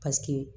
Paseke